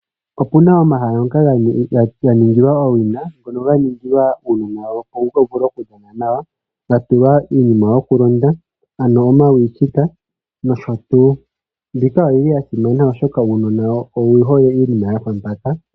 Opuna omahala ngoka ga nigilwa owina ngono ga ningilwa uunona opo wu vule okudhana nawa. Ga tulwa iinima yokulonda ano omakwilika nosho tuu. Mbika oyi li ya simana, oshoka uunona owu hole iinima yafa mpaka.